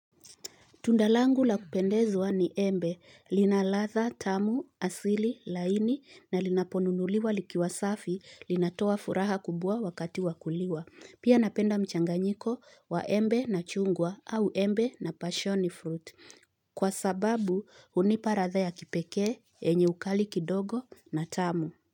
Tunda langu la kupendeza ni embe. Lina ladha, tamu, asili, laini, na linaponunuliwa likiwa safi, linatoa furaha kubwa wakati wa kuliwa. Pia napenda mchanganyiko wa embe na chungwa, au embe na passion fruit. Kwa sababu, unipa ladha ya kipeke, yenye ukali kidogo na tamu.